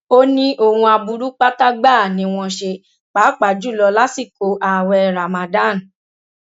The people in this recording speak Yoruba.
ó ní ohun aburú pátá gbáà ni wọn ṣe pàápàá jù lọ lásìkò ààwẹ ramadan